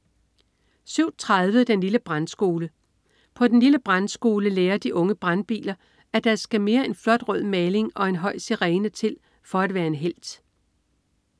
07.30 Den lille Brandskole. På den lille Brandskole lærer de unge brandbiler, at der skal mere end flot rød maling og en høj sirene til for at være en helt!